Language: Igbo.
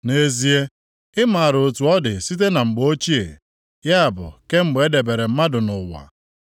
“Nʼezie, ị maara otu ọ dị site na mgbe ochie, ya bụ kemgbe e debere mmadụ nʼụwa.